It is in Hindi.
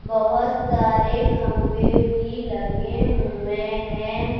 बहोत सारे खम्भे भी लगें हुए हैं।